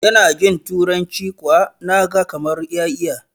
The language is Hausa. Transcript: yana jinTuranci kuwa na gakamar ya iya